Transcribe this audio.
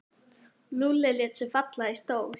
Lúlli lét sig falla í stól.